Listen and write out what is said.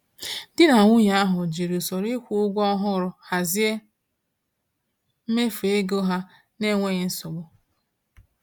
Di na nwunye ahụ jiri usoro ịkwụ ụgwọ ọhụrụ hazie mmefu ego ha n’enweghị nsogbu.